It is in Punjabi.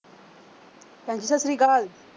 ਭੈਣ ਜੀ ਸਤਿ ਸ੍ਰੀ ਅਕਾਲ।